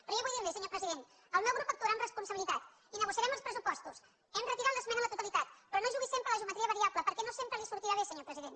però jo vull dir li senyor president el meu grup actuarà amb responsabilitat i negociarem els pressupostos hem retirat l’esmena a la totalitat però no jugui sempre a la geometria variable perquè no sempre li sortirà bé senyor president